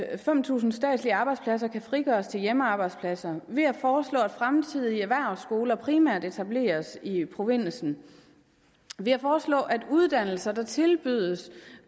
at fem tusind statslige arbejdspladser kan frigøres til hjemmearbejdspladser ved at foreslå at fremtidige erhvervsskoler primært etableres i provinsen og ved at foreslå at uddannelser der tilbydes